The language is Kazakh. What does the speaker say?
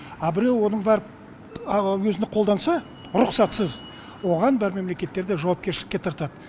а біреу оны барып өзін қолданса рұқсатсыз оған бар мемлекеттерде жауапкершілікке тартады